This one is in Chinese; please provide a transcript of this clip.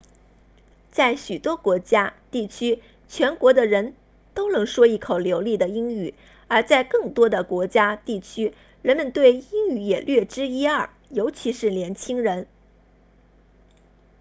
在许多国家地区全国的人都能说一口流利的英语而在更多的国家地区人们对英语也略知一二尤其是年轻人